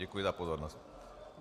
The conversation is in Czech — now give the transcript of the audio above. Děkuji za pozornost.